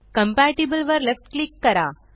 compatible वर left click करा